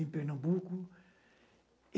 em Pernambuco.